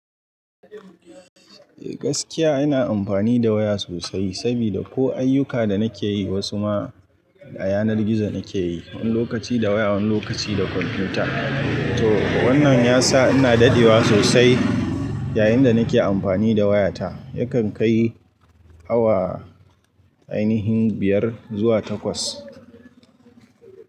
Eh gaskiya ina amfani da waya sosai sabida ko ayyuka da nake yi wasu ma a yanar gizo nake yi, wani lokaci da waya wani lokaci da kwamfuta. To wannan yasa ina dadewa sosai yayin da nake amfani da wayata. Yakan kai awa ainihin biyar zuwa takwas.